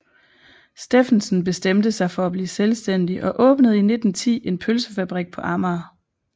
Steffensen bestemte sig for at blive selvstændig og åbnede i 1910 en pølsefabrik på Amager